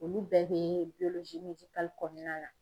Olu bɛɛ bɛ kɔnɔna na.